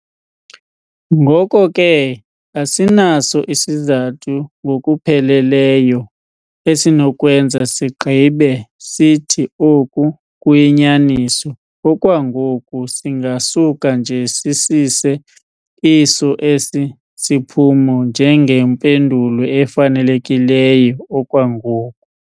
Ngoko ke, asinaso isizathu ngokuphelelyo esinokwenza sigqibe sithi oku kuyinyaniso okwangoku, singasuka nje sisise iso esi siphumo njengempendulo efanelekileyo okwangoku.